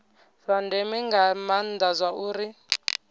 zwa ndeme nga maana zwauri